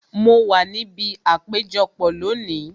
Mo wa níbi àpéjọpọ̀ lónìí